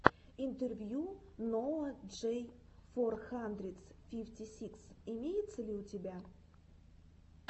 интервью ноа джей фор хандридс фифти сикс имеется ли у тебя